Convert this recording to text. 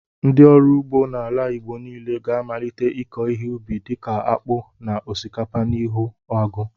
Ndị ọrụ ugbo n'ala Igbo niile ga-amalite ịkọ ihe ụbi dịka akpu na osikapa n'ihi agụụ.